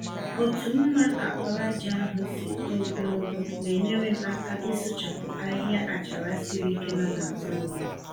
Otu mma àkpàràjà ahụ si too gologo na-enyere m aka ịsụchapụ ahịhịa àchàrà siri ike nọ n'azụ ụlọm.